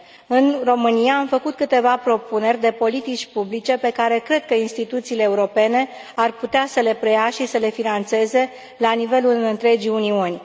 În România am făcut câteva propuneri de politici publice pe care cred că instituțiile europene ar putea să le preia și să le finanțeze la nivelul întregii Uniuni.